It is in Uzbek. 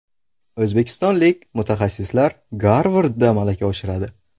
O‘zbekistonlik mutaxassislar Garvardda malaka oshiradi.